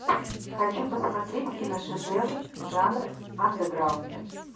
хочу посмотреть киношедевр жанр андеграунд